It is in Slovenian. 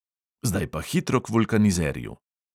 Zdaj pa hitro k vulkanizerju.